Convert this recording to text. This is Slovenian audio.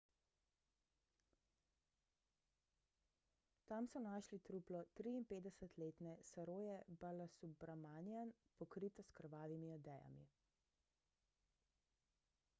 tam so našli truplo 53-letne saroje balasubramanian pokrito s krvavimi odejami